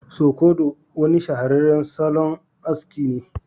Sukodo wani shahararren salon aski ne